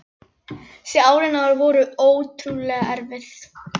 Þessi ár voru henni ótrúlega erfið.